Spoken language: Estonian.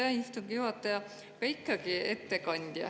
Aitäh, istungi juhataja!